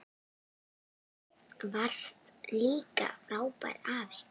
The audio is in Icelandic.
Þú varst líka frábær afi.